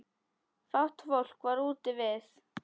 Fátt fólk var úti við.